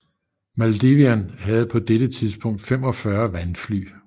Maldivian havde på dette tidspunkt 45 vandfly